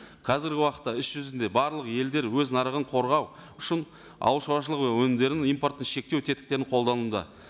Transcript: қазіргі уақытта іс жүзінде барлық елдер өз нарығын қорғау үшін ауыл шаруашылығы өнімдерін импортты шектеу тетіктерін қолдануда